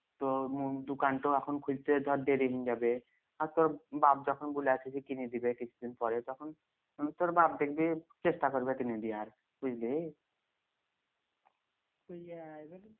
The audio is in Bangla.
তো মুর দোকান ট এখন খুলতে ধর যাবে আর তোর বাপ যখন বলি আছে যে কিনে দিবে কিছু দিন পরে তখন তোর বাপ দেখবি চেষ্টা করবে কিনি দিয়ার বুঝলি